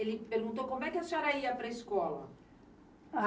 Ele perguntou como é que a senhora ia para a escola?